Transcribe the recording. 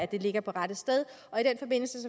det er på rette sted